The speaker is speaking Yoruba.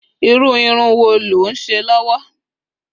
iru irun wo lo nse lowo?